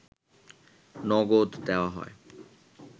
নগদ দেওয়া হয়